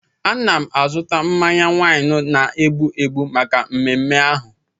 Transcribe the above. Ana m azụta mmanya waịnị na-egbu egbu maka mmeme ahụ.